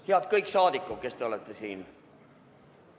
Head kõik saadikud, kes te olete siin!